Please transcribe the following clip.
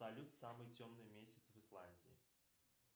салют самый темный месяц в исландии